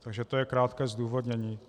Takže to je krátké zdůvodnění.